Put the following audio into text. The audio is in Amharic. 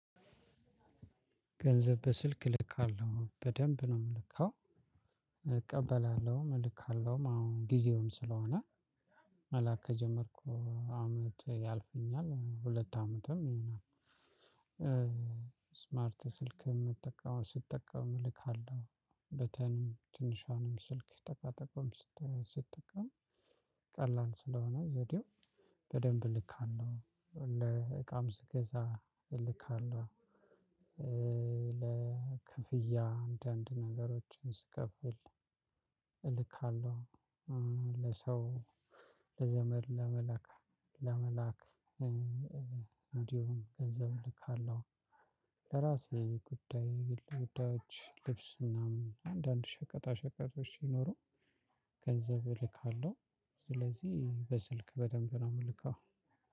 ገንዘብ በስልክ እልካለሁ በደንብ ነው የምልከው እቀበላለሁም እልካለሁም አሁን ጊዜውም ስለሆነ መላክ ከጀመርኩ አመት ያልፈኛል ሁለት አመትም ይሆናል። ስማርት ስልክ ነው የምጠቀመው ስጠቀም እልካለሁ። በተንም ትንሿንም ስልክ ጠቃጠቆም ስትጠቀም ቀላል ስለሆነ ዘዴው በደንብ እልካለሁ። እቃም ስገዛ እልካለሁ። ለክፍያ አንዳንድ ነገሮችን ስከፍል እልካለሁ። ለሰው ለዘመድ ለመላክ ለመላክ እንዲሁም ገንዘብ እልካለሁ። ለራሴ ጉዳይ ጉዳዮች ልብስ ምናምን አንዳንድ ሸቀጣ ሸቀጦች ይኖሩ ገንዘብ እልካለሁ። ስለዚህ በስልክ በደንብ ነው የምልከው።